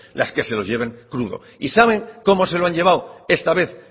las que se lo lleven crudo y saben cómo se lo han llevado esta vez